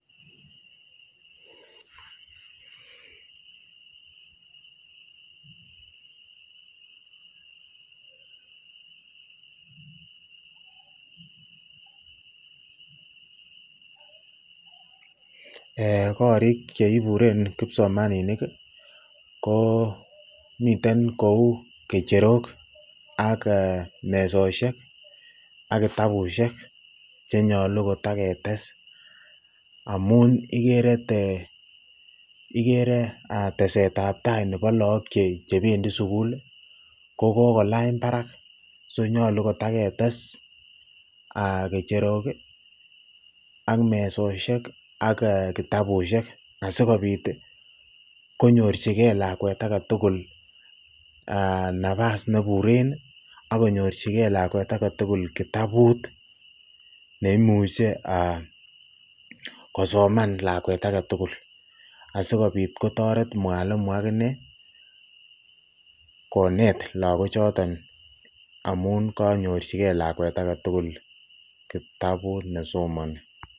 Korik cheiburen kipsomaninik ko miten kouu kecherok ak mesoshek ak kitabushek chenyolu kotaketes amun ikeree tesetab taii nebo lokok chebendi sukul ko kokolany barak so nyolu kotaketes kecherok ak mesoshek ak kitabushek asikobit konyorchike lakwet aketukul nabas neburen ak konyorchike lakwet aketukul kitabut neimuche kosoman lakwet aketukul asikobit kotoret mwalimu akinee konet lokochoton amun konyorchike lakwet aketukul kitabut nesomoni.